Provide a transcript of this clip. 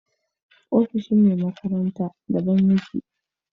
Ofishin me makaranta da ban yake